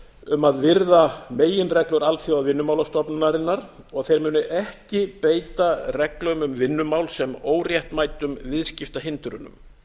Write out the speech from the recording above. um að virða meginreglur alþjóðavinnumálastofnunarinnar og að þeir muni ekki beita reglum um vinnumál sem óréttmætum viðskiptahindrunum